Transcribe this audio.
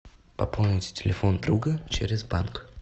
пополнить телефон друга через банк